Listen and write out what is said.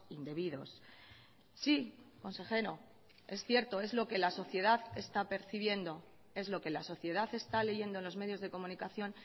indebidos sí consejero es cierto es lo que la sociedad está percibiendo es lo que la sociedad está leyendo en los medios de comunicación